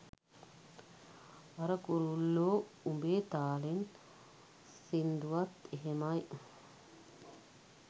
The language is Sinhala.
අර 'කුරුල්ලෝ උඹේ තාලෙන්' සින්දුවත් එහෙමයි.